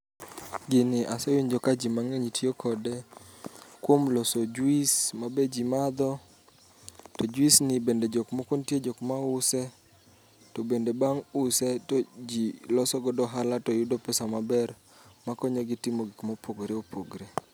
Gini asewinjo ka ji mang'eny tiyo kode kuom loso juis ma be ji madho. To juis ni bende jok moko nitie jok mause. To bende bang' use to ji loso godo ohala to yudo pesa maber ma konyogi timo gik mopogore opogre.